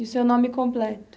E o seu nome completo?